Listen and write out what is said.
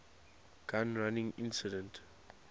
gun running incident